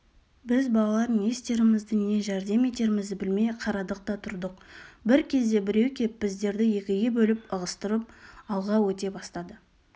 біз балалар не істерімізді не жәрдем етерімізді білмей қарадық та тұрдық бір кезде біреу кеп біздерді екіге бөліп ығыстырып алға өте бастады